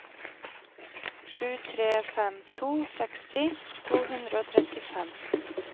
sju tre fem to seksti to hundre og trettifem